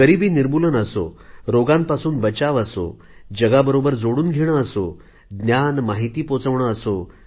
गरिबीनिर्मूलन असो रोगांपासून बचाव असो जगाबरोबर जोडून घेणे असो ज्ञान माहिती पोचवणे असो